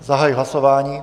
Zahajuji hlasování.